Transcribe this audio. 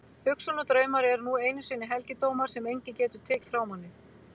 Hugsun og draumar eru nú einu sinni helgidómar sem enginn getur tekið frá manni.